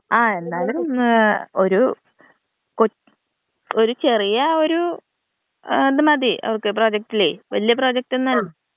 ആ എന്തായാലും ഏ ഒരു കൊച്ചു ഒരു ചെറിയ ഒരു ഇത് മതി അവർക്ക് പ്രോജെക്ടില് വലിയ പ്രോജെക്ടന്നുമല്ല.